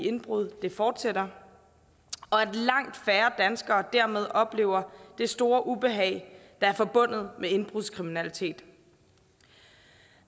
indbrud fortsætter og at langt færre danskere dermed oplever det store ubehag der er forbundet med indbrudskriminalitet